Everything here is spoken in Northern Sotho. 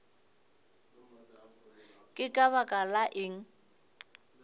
ke ka baka la eng